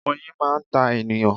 Oyin máa ń ta ènìyàn.